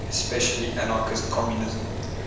especially anarchist communism